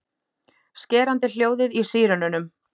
Skerandi hljóðið í sírenunum.